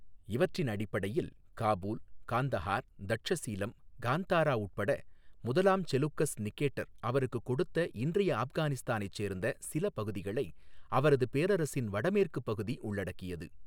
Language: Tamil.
இவற்றின் அடிப்படையில், காபூல், காந்தஹார், தட்சசீலம், காந்தாரா உட்பட, முதலாம் செலூக்கஸ் நிகேட்டர் அவருக்குக் கொடுத்த இன்றைய ஆப்கானிஸ்தானைச் சேர்ந்த சில பகுதிகளை அவரது பேரரசின் வடமேற்குப் பகுதி உள்ளடக்கியது.